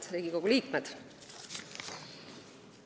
Head Riigikogu liikmed!